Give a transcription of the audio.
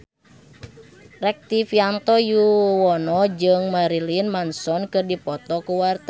Rektivianto Yoewono jeung Marilyn Manson keur dipoto ku wartawan